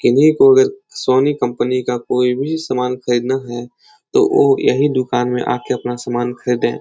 किन्हीं को अगर सोनी कंपनी का कोई भी सामान खरीदना है। तो ओ यही दुकान में आके अपना सामान खरीदें।